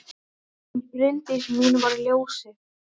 Hún Bryndís mín var ljósið.